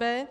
b)